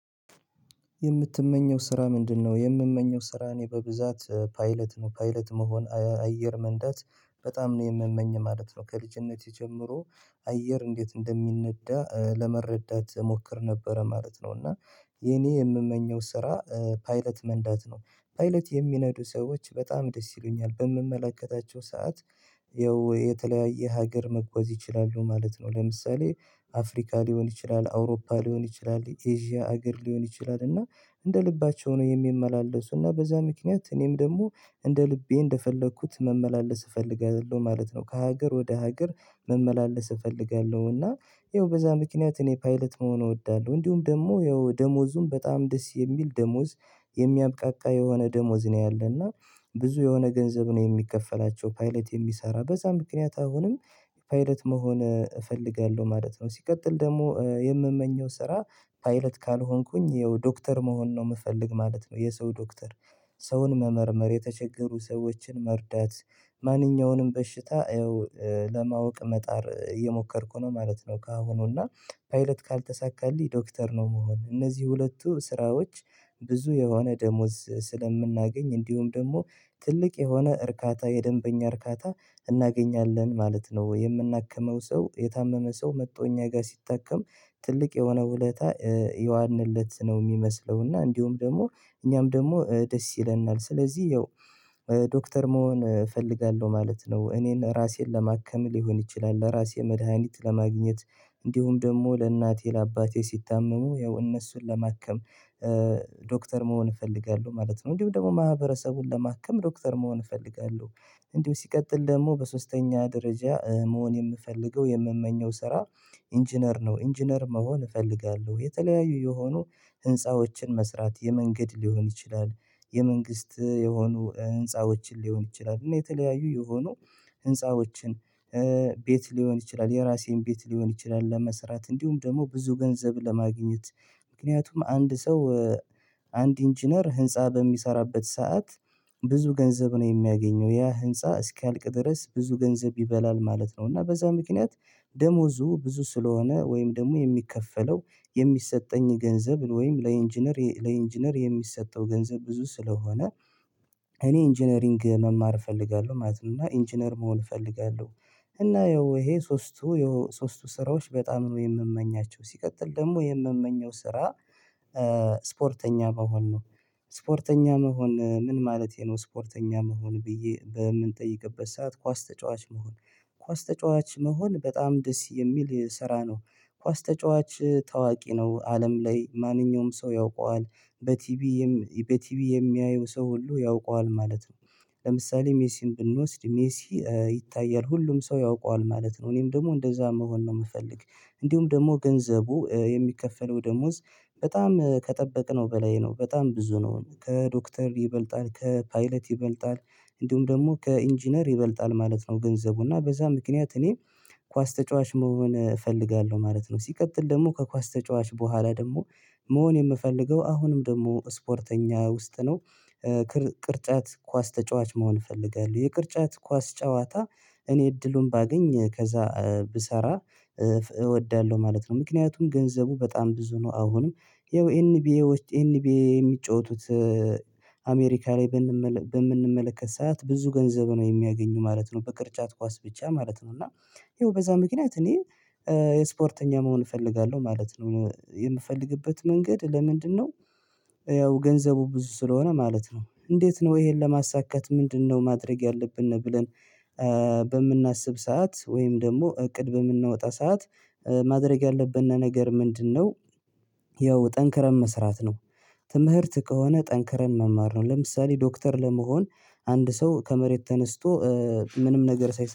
የምትመኘው ስራ ምንድን? ነው የምመኘው ስራ እኔ በብዛት ፓይለት ነው ፓይለት መሆን አየር መንዳት በጣም ነው የምመኝ ማለት ነው። ከልጅነቴ ጀምሮ አየር እንዴት እንደሚነዳ ለመረዳት እሞክር ነበረ ማለት ነው። እና የኔ የምመኘው ስራ ፓይለት መንዳት ነው ፓይለት የሚነዱ ሰዎች በጣም ደስ ይሉኛል በምመላከታቸው ሰዓት የተለያየ ሀገር መጓዝ ይችላሉ ማለት ነው። ለምሳሌ አፍሪካ ሊሆን ይችላል አውሮፓ ሊሆን ይችላል ኤዥያ ሀገር ሊሆን ይችላል እና እንደ ልባቸው ነው የሚመላለሱ እና በዛ ምክንያት እኔም ደግሞ እንደ ልቤ እንደፈለኩት መመላለስ እፈልጋለሁ ማለት ነው። ከሀገር ወደ ሀገር መመላለስ እፈልጋለሁ እና ያው በዛ ምክንያት እኔ ፓይለት መሆን እወዳለሁ። እንዲሁም ደግሞ ያው ደሞዙም በጣም ደስ የሚል ደሞዝ የሚያብቃቃ የሆነ ደሞዝ ነው። ያለ እና ብዙ የሆነ ገንዘብ ነው የሚከፈላቸው ፓይለት የሚሰራ በዛ ምክንያት አሁንም ፓይለት መሆን እፈልጋለሁ ማለት ነው። ሲቀጥል ደግሞ የምመኘው ስራ ፓይለት ካልሆንኩኝ ያው ዶክተር መሆን ነው የምፈልግ ማለት ነው። የሰው ዶክተር ሰውን መመርመር የተቸገሩ ሰዎችን መርዳት ማንኛውንም በሽታ ይኸው ለማወቅ መጣር እየሞከርኩ ነው ማለት ነው። ከአሁኑ እና ፓይለት ካልተሳካልኝ ዶክተር ነው። ምሆን እነዚህ ሁለቱ ስራዎች ብዙ የሆነ ደሞዝ ስለምናገኝ እንዲሁም ደግሞ ትልቅ የሆነ እርካታ የደንበኛ እርካታ እናገኛለን ማለት ነው። የምናከመው ሰው የታመመ ሰው መጥቶ እኛ ጋር ሲታከም ትልቅ የሆነ ውለታ የዋልንለት ነው የሚመስለው እና እንዲሁም ደግሞ እኛም ደግሞ ደስ ይለናል ስለዚህ ያው ዶክተር መሆን እፈልጋለሁ ማለት ነው። እኔን ራሴን ለማከም ሊሆን ይችላል ለራሴ መድሃኒት ለማግኘት እንዲሁም ደግሞ ለእናቴ ለአባቴ ሲታመሙ ያው እነሱን ለማከም ዶክተር መሆን እፈልጋለሁ ማለት ነው። እንዲሁም ደግሞ ማህበረሰቡን ለማከም ዶክተር መሆን እፈልጋለሁ። እንዲሁ ሲቀጥል ደግሞ በሶስተኛ ደረጃ መሆን የምፈልገው የምመኘው ስራ ኢንጂነር ነው። ኢንጂነር መሆን እፈልጋለሁ የተለያዩ የሆኑ ህንፃዎችን መስራት የመንገድ ሊሆን ይችላል የመንግስት የሆኑ ህንፃዎችን ሊሆን ይችላል እና የተለያዩ የሆኑ ህንፃዎችን ቤት ሊሆን ይችላል የራሴን ቤት ሊሆን ይችላል ለመሰራት እንዲሁም ደግሞ ብዙ ገንዘብ ለማግኘት። ምክንያቱም አንድ ሰው አንድ ኢንጂነር ህንፃ በሚሰራበት ሰዓት ብዙ ገንዘብ ነው የሚያገኘው ያ ህንፃ እስኪያልቅ ድረስ ብዙ ገንዘብ ይበላል ማለት ነው። እና በዛ ምክንያት ደሞዙ ብዙ ስለሆነ ወይም ደግሞ የሚከፈለው የሚሰጠኝ ገንዘብ ወይም ለኢንጂነር የሚሰጠው ገንዘብ ብዙ ስለሆነ እኔ ኢንጂነሪንግ መማር እፈልጋለሁ ማለት ነው። እና ኢንጂነር መሆን እፈልጋለሁ እና ያው ይሄ ሶስቱ ሶስቱ ስራዎች በጣም ነው የምመኛቸው። ሲቀጥል ደግሞ የምመኘው ስራ ስፖርተኛ መሆን ነው። ስፖርተኛ መሆን ምን ማለቴ ነው? ስፖርተኛ መሆን ብዬ በምንጠይቅበት ሰዓት ኳስ ተጫዋች መሆን ኳስ ተጫዋች መሆን በጣም ደስ የሚል ስራ ነው። ኳስ ተጫዋች ታዋቂ ነው አለም ላይ ማንኛውም ሰው ያውቀዋል በቲቪ የሚያየው ሰው ሁሉ ያውቀዋል ማለት ነው። ለምሳሌ ሜሲን ብንወስድ ሜሲ ይታያል ሁሉም ሰው ያውቀዋል ማለት ነው። እኔም ደግሞ እንደዛ መሆን ነው የምፈልግ። እንዲሁም ደግሞ ገንዘቡ የሚከፈለው ደሞዝ በጣም ከጠበቅነው በላይ ነው በጣም ብዙ ነው ከዶክተር ይበልጣል ከፓይለት ይበልጣል እንዲሁም ደግሞ ከኢንጂነር ይበልጣል ማለት ነው። ገንዘቡ እና በዛ ምክንያት እኔ ኳስ ተጫዋች መሆን እፈልጋለሁ ማለት ነው። ሲቀጥል ደግሞ ከኳስ ተጫዋች በኋላ ደግሞ መሆን የምፈልገው አሁንም ደግሞ ስፖርተኛ ውስጥ ነው። ቅርጫት ኳስ ተጫዋች መሆን እፈልጋለሁ የቅርጫት ኳስ ጨዋታ እኔ እድሉን ባገኝ ከዛ ብሰራ እወዳለሁ ማለት ነው። ምክንያቱም ገንዘቡ በጣም ብዙ ነው። አሁንም ይኸው ኤንቢኤዎች ኤንቢኤ የሚጫወቱት አሜሪካ ላይ በምንመለከት ሰዓት ብዙ ገንዘብ ነው የሚያገኙ ማለት ነው በቅርጫት ኳስ ብቻ ማለት ነው። እና ይኸው በዛ ምክንያት እኔ የስፖርተኛ መሆን እፈልጋለሁ ማለት ነው። የምፈልግበት መንገድ ለምንድን ነው? ያው ገንዘቡ ብዙ ስለሆነ ማለት ነው። እንዴት ነው ይሄን ለማሳካት ምንድነው ማድረግ ያለብን ብለን? በምናስብ ሰዓት ወይም ደግሞ እቅድ በምናወጣ ሰዓት ማድረግ ያለብን ነገር ምንድን ነው? ያው ጠንክረን መስራት ነው። ትምህርት ከሆነ ጠንክረን መማር ነው ለምሳሌ ዶክተር ለመሆን አንድ ሰው ከመሬት ተነስቶ ምንም ነገር ሳይሰራ